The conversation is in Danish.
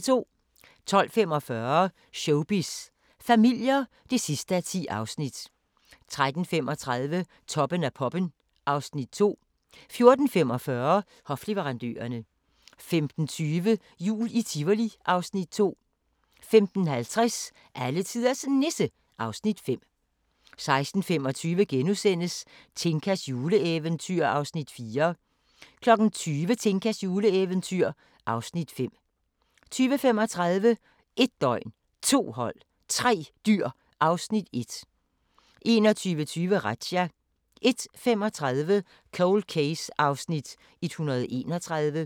12:45: Showbiz familier (10:10) 13:35: Toppen af poppen (Afs. 2) 14:45: Hofleverandørerne 15:20: Jul i Tivoli (Afs. 2) 15:50: Alletiders Nisse (Afs. 5) 16:25: Tinkas juleeventyr (Afs. 4)* 20:00: Tinkas juleeventyr (Afs. 5) 20:35: 1 døgn, 2 hold, 3 dyr (Afs. 1) 21:20: Razzia 01:35: Cold Case (131:156)